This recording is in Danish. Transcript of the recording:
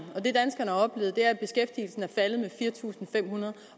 og er faldet med fire tusind fem hundrede